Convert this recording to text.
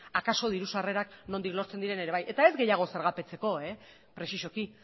akaso diru sarrerak nondik lortzen diren ere bai eta ez gehiago zergapetzeko presizoki